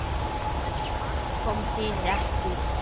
Allt kom fyrir ekki.